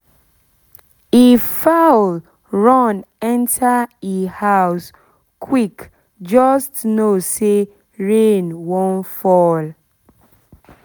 if fowl run enter e house quick just know say rain wan fall fall